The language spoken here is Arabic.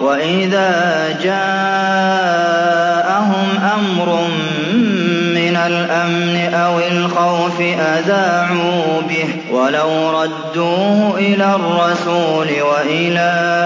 وَإِذَا جَاءَهُمْ أَمْرٌ مِّنَ الْأَمْنِ أَوِ الْخَوْفِ أَذَاعُوا بِهِ ۖ وَلَوْ رَدُّوهُ إِلَى الرَّسُولِ وَإِلَىٰ